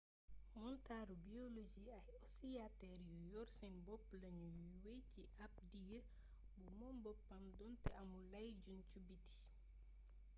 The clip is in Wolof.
montaru biologie ay osiyatër yu yor seen bopp lañu yuy wey ci ab diir bu moom boppam donte amul ay juñju biti